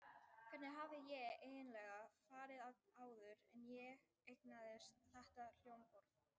Hvernig hafði ég eiginlega farið að áður en ég eignaðist þetta hljómborð?